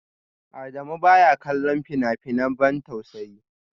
Adamu baya kallon fina-finan ban tausayi